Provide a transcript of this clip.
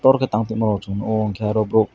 orokhe tang tongmo chung nuko hwnkhe aro borok.